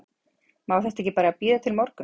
má þetta ekki bara bíða til morguns?